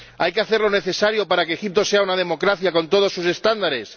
¿Hay que hacer lo necesario para que Egipto sea una democracia con todos sus estándares?